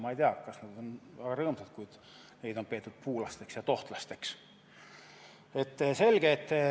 Ma ei tea, kas nad on väga rõõmsad selle üle, kui neid puulasteks ja tohtlasteks peetakse.